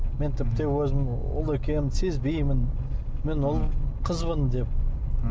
мен тіпті өзім ұл екенімді сезбеймін мен қызбын деп